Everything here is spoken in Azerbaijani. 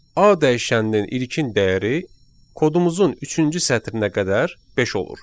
A dəyişəninin ilkin dəyəri kodumuzun üçüncü sətrinə qədər beş olur.